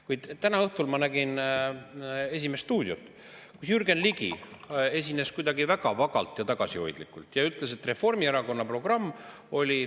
Kuid täna õhtul ma nägin "Esimest stuudiot", kus Jürgen Ligi esines kuidagi väga vagalt ja tagasihoidlikult ja ütles, et Reformierakonna programm oli …